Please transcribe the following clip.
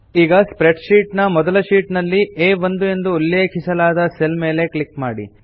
ಈಗ spreadsheet ನ ಮೊದಲ ಶೀಟ್ ನಲ್ಲಿ ಆ1 ಎಂದು ಉಲ್ಲೇಖಿಸಲಾದ ಸೆಲ್ ಮೇಲೆ ಕ್ಲಿಕ್ ಮಾಡಿ